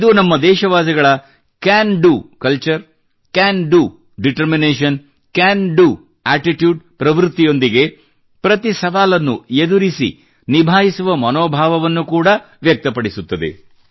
ಇದು ನಮ್ಮ ದೇಶವಾಸಿಗಳ can do culture can do determination can do attitude ಪ್ರವೃತ್ತಿಯೊಂದಿಗೆ ಪ್ರತಿ ಸವಾಲನ್ನೂ ಎದುರಿಸಿ ನಿಭಾಯಿಸುವ ಮನೋಭಾವವನ್ನು ಕೂಡಾ ವ್ಯಕ್ತಪಡಿಸುತ್ತದೆ